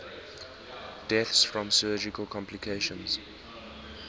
deaths from surgical complications